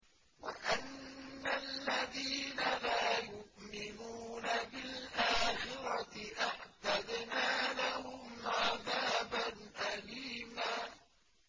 وَأَنَّ الَّذِينَ لَا يُؤْمِنُونَ بِالْآخِرَةِ أَعْتَدْنَا لَهُمْ عَذَابًا أَلِيمًا